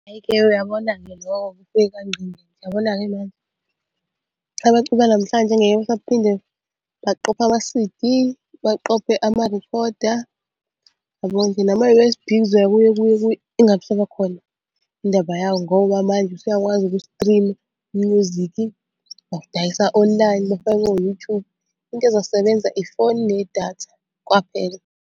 Ayike uyabona-ke lowo-ke ufike kwangqingetshe. Uyabona-ke manje abaculi banamhlanje ngeke basaphinde baqophe ama-C_D, baqophe amarekhoda, yabona nje nama-U_S_B kuzoya kuye kuye kuye ingabe isaba khona indaba yawo ngoba manje usuyakwazi uku-stream-a u-music ngokudayisa online bafake o-YouTube. Into ezosebenza ifoni nedatha kwaphela.